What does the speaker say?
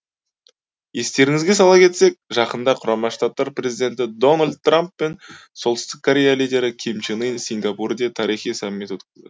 естеріңізге сала кетсек жақында құрама штаттар президенті дональд трамп пен солтүстік корея лидері ким чен ын сингапурде тарихи саммит өткізді